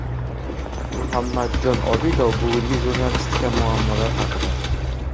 Muhammadjon Obidov bugungi jurnalistika muammolari haqida.